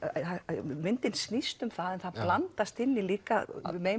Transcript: myndin snýst um það það blandast inn í líka